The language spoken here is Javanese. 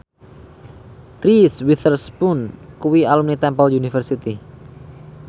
Reese Witherspoon kuwi alumni Temple University